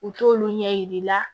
U t'olu ɲɛ yir'i la